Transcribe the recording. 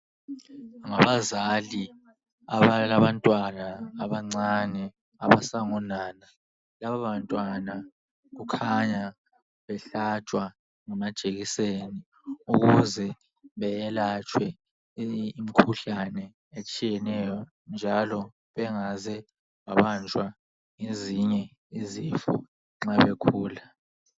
Ngabazali abalabantwana abancane abasangonana lababantwana kukhanya behlatshwa ngamajekiseni ukuze beyelatshwe imikhuhlane etshiyeneyo njalo bengaze babanjwa ezinye izifo nxa bekhula.